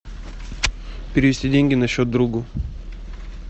перевести деньги на счет другу